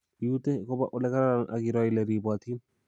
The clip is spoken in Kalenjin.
Iutee koba ole kararan ak iroo ile ribotin